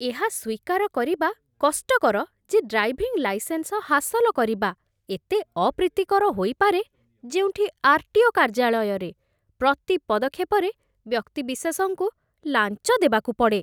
ଏହା ସ୍ୱୀକାର କରିବା କଷ୍ଟକର ଯେ ଡ୍ରାଇଭିଂ ଲାଇସେନ୍ସ ହାସଲ କରିବା ଏତେ ଅପ୍ରୀତିକର ହୋଇପାରେ, ଯେଉଁଠି ଆର୍.ଟି.ଓ. କାର୍ଯ୍ୟାଳୟରେ ପ୍ରତି ପଦକ୍ଷେପରେ ବ୍ୟକ୍ତିବିଶେଷଙ୍କୁ ଲାଞ୍ଚ ଦେବାକୁ ପଡ଼େ।